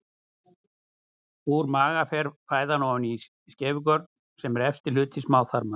Úr maga fer fæðan ofan í skeifugörn sem er efsti hluti smáþarma.